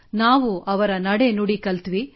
ನಾವು ಅವರ ನಡೆ ನುಡಿ ಕಲಿತೆವು